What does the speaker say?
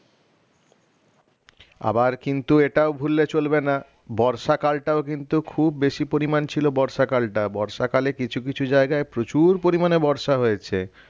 আবার কিন্তু এটাও ভুললে চলবে না বর্ষাকালটাও কিন্তু খুব বেশি পরিমান ছিল বর্ষাকালটা বর্ষাকালে কিছু কিছু জায়গায় প্রচুর পরিমানে বর্ষা হয়েছে